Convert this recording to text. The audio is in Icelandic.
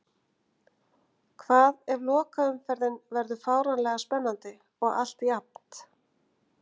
Hvað ef lokaumferðin verður fáránlega spennandi og allt jafnt?